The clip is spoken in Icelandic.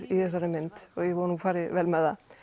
í þessari mynd og ég vona að hún fari vel með það